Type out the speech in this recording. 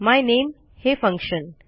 मायनेम हे फंक्शन